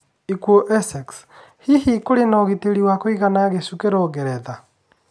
ĩkuũ Essex: Hihi kũrĩ na ũgitĩri wa kũigana gĩcukĩro Ngeretha?